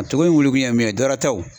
A ko in wolokun ye mun ye dɔwɛrɛ tɛ wo